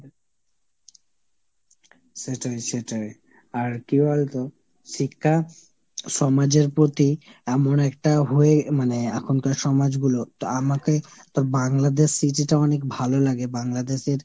সেটাই সেটাই। আর কি বলতো শিক্ষা সমাজের প্রতি এমন একটা হয়ে এখনকার সমাজগুলো তো আমাকে তোর Bangladesh city টা অনেক ভালোলাগে, Bangladesh এর